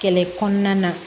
Kɛlɛ kɔnɔna na